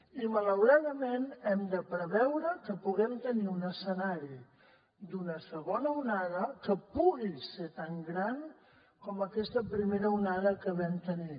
i malauradament hem de preveure que puguem tenir un escenari d’una segona onada que pugui ser tan gran com aquesta primera onada que vam tenir